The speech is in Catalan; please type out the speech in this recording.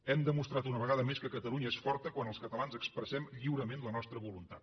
hem demostrat una vegada més que catalunya és forta quan els catalans expressem lliurement la nostra voluntat